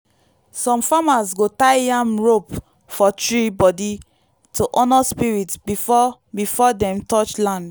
some farmers go tie yam rope for tree body to honour spirit before before dem touch land.